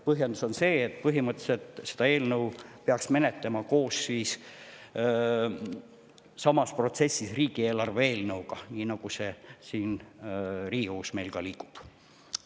Põhjendus on see, et põhimõtteliselt peaks seda eelnõu menetlema koos samas protsessis riigieelarve eelnõuga, nii nagu see siin meil Riigikogus liigub.